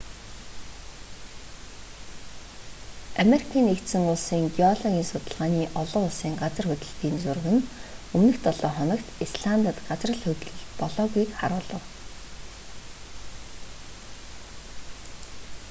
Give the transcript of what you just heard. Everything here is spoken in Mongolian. америкийн нэгдсэн улсын геологийн судалгааны олон улсын газар хөдлөлтийн зураг нь өмнөх долоо хоногт исландад газар хөдлөлт болоогүйг харуулав